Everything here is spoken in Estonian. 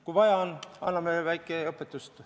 Kui vaja on, anname väikest õpetust.